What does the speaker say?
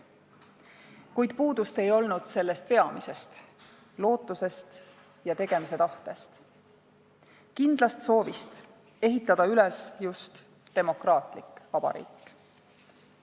Kuid puudust ei olnud sellest peamisest – lootusest ja tegemise tahtest, kindlast soovist ehitada üles just demokraatlik vabariik.